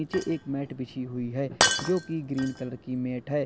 नीचे एक मैट बिछी हुई है जो कि ग्रीन कलर की मैट है।